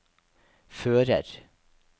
fører